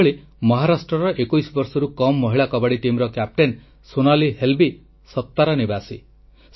ସେହିଭଳି ମହାରାଷ୍ଟ୍ରର 21 ବର୍ଷରୁ କମ୍ ମହିଳା କବାଡ଼ି ଟିମ୍ କ୍ୟାପ୍ଟେନ ସୋନାଲି ହେଲ୍ବୀ ସତାରା ନିବାସୀ